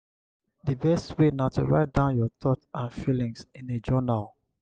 di best way na to write down your thoughts and feelings in a journal.